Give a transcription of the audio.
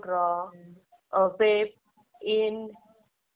कोणता computer course केलाय तिने.